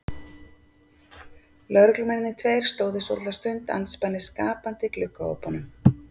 Lögreglumennirnir tveir stóðu svolitla stund andspænis gapandi gluggaopunum.